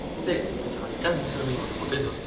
ମୋତେ ଧାନଚାଷ ବିଷୟରେ ଟିକେ ମୋତେ ବତେଇବ?